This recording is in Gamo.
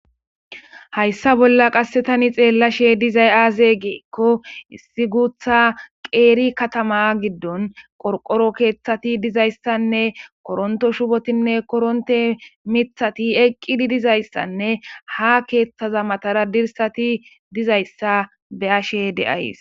Hayssa bolla qassi thani xeellashee dizay aazee giikko issi guuththa qeeri kaththamaa giddon qorqqoro keeththathi dizayssanne koronththo shubathinne koronththe miththathi eqqidi dizayssanne haa keeththaza mathaara dirssathi dizayssa be7ashee de7ays.